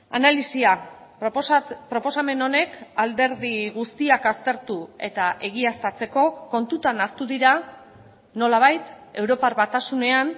analisia proposamen honek alderdi guztiak aztertu eta egiaztatzeko kontutan hartu dira nolabait europar batasunean